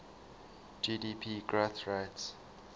gdp growth rates